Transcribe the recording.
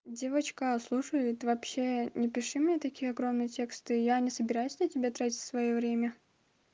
девочка слушай ты вообще не пиши мне такие огромные тексты я не собираюсь на тебя тратить своё время